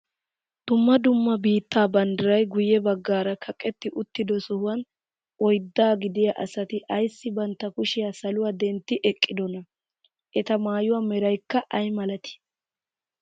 Dumma dumma biittaa banddiray guye baggaara kaqetti uttido sohuwaan oyddaa gidiyaa asati ayssi bantta kushiyaa saluwaa dentti eqqidonaa? eta maayuwaa meraykka ayi milatii?